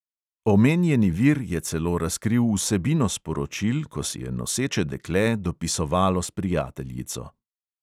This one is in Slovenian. Omenjeni vir je celo razkril vsebino sporočil, ko si je noseče dekle dopisovalo s prijateljico.